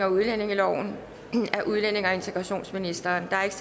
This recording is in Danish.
udlændinge og integrationsministeren